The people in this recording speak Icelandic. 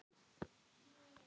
Svo hélt hún áfram: